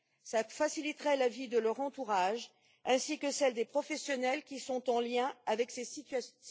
Cela faciliterait la vie de leur entourage ainsi que celle des professionnels qui sont en lien avec ces situations.